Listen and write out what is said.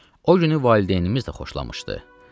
O günü valideynimiz də xoşlamışdı.